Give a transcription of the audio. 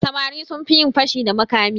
Samari sun fi yin fashi da makami.